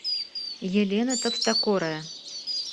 елена товстокорая